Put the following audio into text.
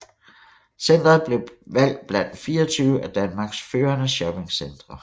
Centret blevet valgt blandt 24 af Danmarks førende shoppingcentre